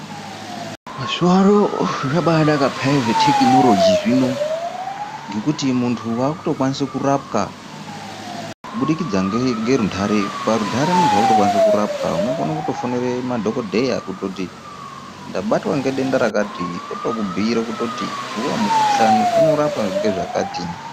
Mazuva ano zvabaa naka peyani zvetekinoroji zvino ngekuti muntu waakuto kwanise kurapwa kubudikidza nerundare, parundare muntu waakutokwanise kurapwa unokone kutofonere madhokodheya kutoti ndabatwa nedenda rakati otokubhuyire kutoti iwowo mukhuhlani unorapwa ngezvakati.